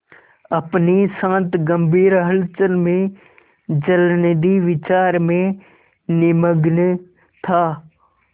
अपनी शांत गंभीर हलचल में जलनिधि विचार में निमग्न था